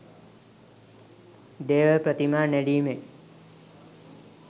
දේව ප්‍රතිමා නෙළීමෙන්